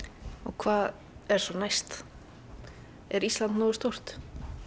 hvað er næst er Ísland nógu stórt